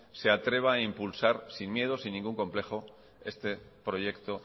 se atreva a impulsar sin miedo y sin ningún complejo este proyecto